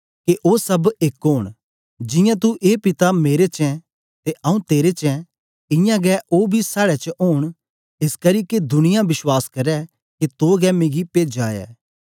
के ओ सब एक ओन जियां तू ए पिता मेरे च ऐं ते आऊँ तेरे च ऐं इयां गै ओ बी साड़े च ओन एसकरी के दुनिया बश्वास करै के तो गै मिगी पेजा ऐ